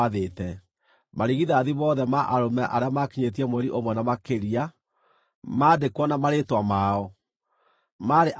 Marigithathi mothe ma arũme arĩa maakinyĩtie mweri ũmwe na makĩria, maandĩkwo na marĩĩtwa mao, maarĩ andũ 22,273.